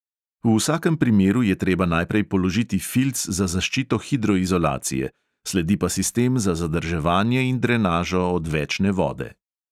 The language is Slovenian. V vsakem primeru je treba najprej položiti filc za zaščito hidroizolacije, sledi pa sistem za zadrževanje in drenažo odvečne vode.